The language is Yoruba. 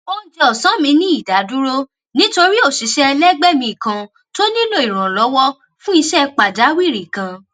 oúnjẹ òsán mi ní ìdádúró nítorí òṣìṣé ẹlẹgbé mi kan tó nílò ìrànlówó fún iṣé pàjáwìrì kan